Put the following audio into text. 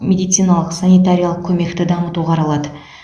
медициналық санитариялық көмекті дамыту қаралады